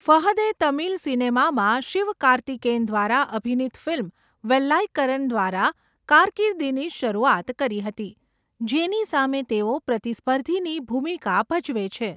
ફહદે તમિલ સિનેમામાં શિવકાર્તિકેયન દ્વારા અભિનીત ફિલ્મ વેલાઈક્કરન દ્વારા કારકિર્દીની શરૂઆત કરી હતી, જેની સામે તેઓ પ્રતિસ્પર્ધીની ભૂમિકા ભજવે છે.